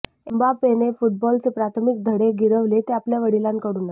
एम्बापेने फुटबॉलचे प्राथमिक धडे गिरविले ते आपल्या वडिलांकडूनच